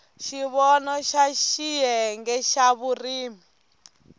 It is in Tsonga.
xivono xa xiyenge xa vurimi